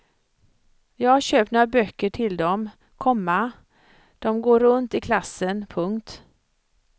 Jag har köpt några böcker till dem, komma de går runt i klassen. punkt